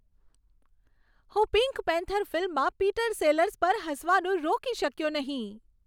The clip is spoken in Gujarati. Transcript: હું પિંક પેન્થર ફિલ્મમાં પીટર સેલર્સ પર હસવાનું રોકી શક્યો નહીં.